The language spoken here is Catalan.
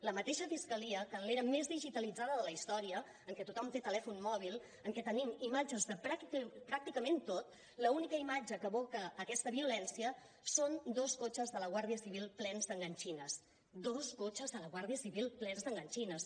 la mateixa fiscalia que en l’era més digitalitzada de la història en què tothom té telèfon mòbil en què tenim imatges de pràcticament tot l’única imatge que evoca aquesta violència són dos cotxes de la guàrdia civil plens d’enganxines dos cotxes de la guàrdia civil plens d’enganxines